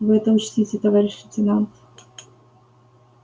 вы это учтите товарищ лейтенант